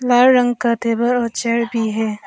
हर रंग का टेबल और चेयर भी है।